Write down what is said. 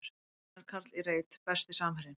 Einar Karl í reit Besti samherjinn?